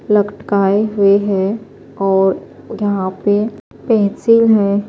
.لکٹکایے ہوئے ہیں اور یحیٰ پی پنسل ہیں